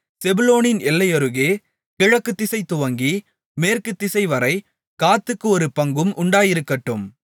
செபுலோனின் எல்லையருகே கிழக்குதிசை துவங்கி மேற்குத்திசைவரை காத்துக்கு ஒரு பங்கும் உண்டாயிருக்கட்டும்